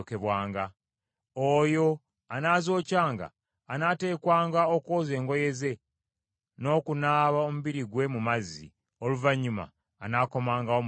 Oyo anaazokyanga anaateekwanga okwoza engoye ze, n’okunaaba omubiri gwe mu mazzi; oluvannyuma anaakomangawo mu lusiisira.